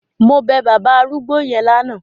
Mo bẹ bàbá arúgbó yẹn lánàá.